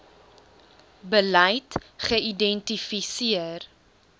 beleid geïdenti seer